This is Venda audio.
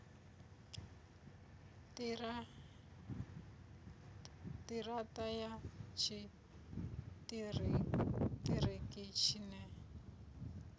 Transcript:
ṱira ṱa ya tshiṱiriki tshine